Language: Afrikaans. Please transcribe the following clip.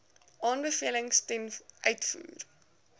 aanbevelings ten uitvoer